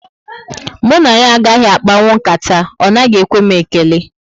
Mụ na ya agaghị akpanwu nkata, ọ naghị ekwe m ekele